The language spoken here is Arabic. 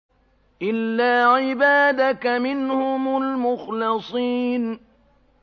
إِلَّا عِبَادَكَ مِنْهُمُ الْمُخْلَصِينَ